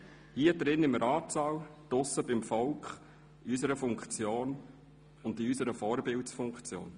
hier im Ratssaal, draussen beim Volk, in unserer Funktion und insbesondere in unserer Vorbildfunktion.